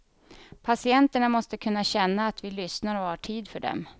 Patienterna måste kunna känna att vi lyssnar och har tid för dem.